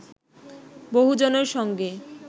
বহুজনের সঙ্গে